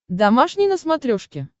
домашний на смотрешке